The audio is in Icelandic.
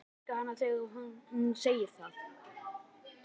Og ég elska hana þegar hún segir það.